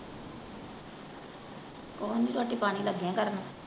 ਕੁਛ ਨਹੀਂ ਰੋਟੀ ਪਾਣੀ ਲੱਗੀ ਆਂ ਕਰਨ।